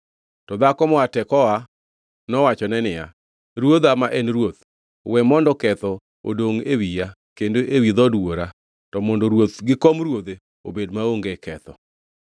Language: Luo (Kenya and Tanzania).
To dhako moa Tekoa nowachone niya, “Ruodha ma en ruoth, we mondo ketho odongʼ e wiya kendo ewi dhood wuora, to mondo ruoth gi kom ruodhe obed maonge ketho.”